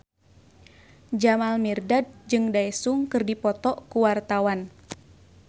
Jamal Mirdad jeung Daesung keur dipoto ku wartawan